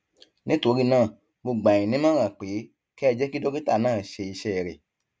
nítorí náà mo gbà yín nímọràn pé kẹ ẹ jẹ kí dókítà náà ṣe iṣẹ rẹ